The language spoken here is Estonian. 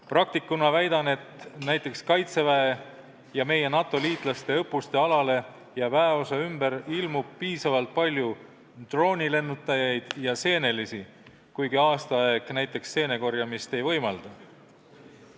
Praktikuna väidan, et näiteks Kaitseväe ja meie NATO liitlaste õppuste alale ja väeosa ümber ilmub piisavalt palju droonilennutajaid ja seenelisi, kuigi aastaaeg parajasti seenekorjamist ei võimalda.